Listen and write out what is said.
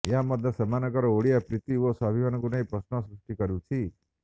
ଏହା ମଧ୍ୟ ସେମାନଙ୍କର ଓଡ଼ିଶା ପ୍ରୀତି ଓ ସ୍ବାଭିମାନକୁ ନେଇ ପ୍ରଶ୍ନ ସୃଷ୍ଟି କରୁଛି